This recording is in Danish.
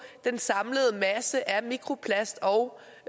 den samlede masse af mikroplast og